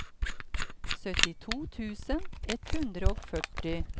syttito tusen ett hundre og førti